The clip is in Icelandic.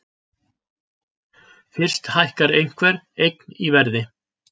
Fyrst hækkar einhver eign í verði.